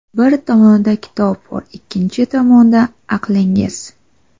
Bir tomonida kitob bor — ikkinchi tomonda aqlingiz.